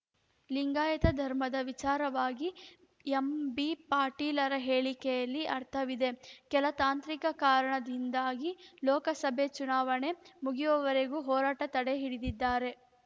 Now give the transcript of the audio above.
ಲಿಂಗಾಯತ ಧರ್ಮದ ವಿಚಾರವಾಗಿ ಎಂಬಿಪಾಟೀಲರ ಹೇಳಿಕೆಯಲ್ಲಿ ಅರ್ಥವಿದೆ ಕೆಲ ತಾಂತ್ರಿಕ ಕಾರಣದಿಂದಾಗಿ ಲೋಕಸಭೆ ಚುನಾವಣೆ ಮುಗಿಯುವವರೆಗೂ ಹೋರಾಟ ತಡೆ ಹಿಡಿದಿದ್ದಾರೆ